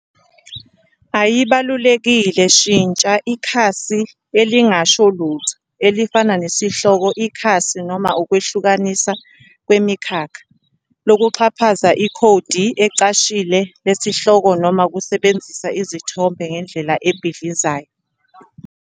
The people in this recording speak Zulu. ayibalulekile, shintsha ikhasi elingasho lutho elifana nesihloko ikhasi noma ukwehlukanisa ngemikhakha, lokuxhaphaza ikhodi elicashile lesihloko noma ukusebenzisa izithombe ngendlela ebhidlizayo.